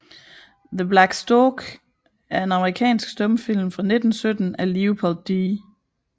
The Black Stork er en amerikansk stumfilm fra 1917 af Leopold D